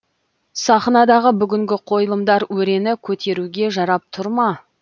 сахнадағы бүгінгі қойылымдар өрені көтеруге жарап тұр ма